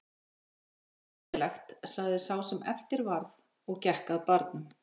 Það er ekki ósennilegt sagði sá sem eftir varð og gekk að barnum.